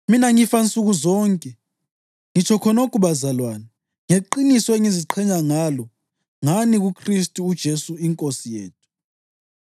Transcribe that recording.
Mina ngifa nsuku zonke, ngitsho khonokho bazalwane, ngeqiniso engiziqhenya ngalo ngani kuKhristu uJesu iNkosi yethu.